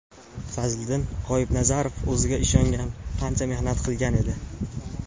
Fazliddin G‘oibnazarov o‘ziga ishongan, ancha mehnat qilgan edi.